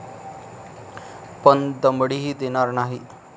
पण दमडीही देणार नाहीत.